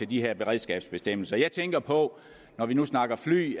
de her beredskabsbestemmelser jeg tænker på når vi nu snakker fly